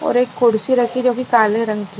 और एक कुर्सी रखी है जो की काले रंग की है।